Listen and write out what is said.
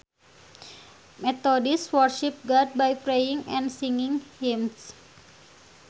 Methodists worship God by praying and singing hymns